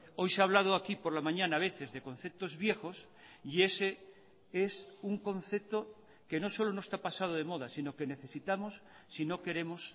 hoy se ha hablado aquí por la mañana a veces de conceptos viejos y ese es un concepto que no solo no está pasado de moda sino que necesitamos si no queremos